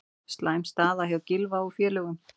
Slæm staða hjá Gylfa og félögum